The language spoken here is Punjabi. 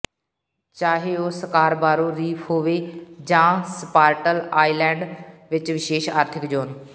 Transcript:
ਚਾਹੇ ਉਹ ਸਕਾਰਬਾਰੋ ਰੀਫ ਹੋਵੇ ਜਾਂ ਸਪਾਰਟਲ ਆਈਲੈਂਡ ਵਿੱਚ ਵਿਸ਼ੇਸ਼ ਆਰਥਿਕ ਜ਼ੋਨ